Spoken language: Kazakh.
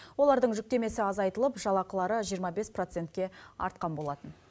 олардың жүктемесі азайтылып жалақылары жиырма бес процентке артқан болатын